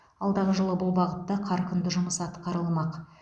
алдағы жылы бұл бағытта қарқынды жұмыс атқарылмақ